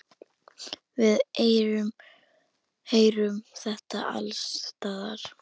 Við heyrum þetta alls staðar.